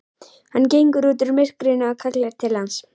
Hann gengur út úr myrkrinu og kallar til hans.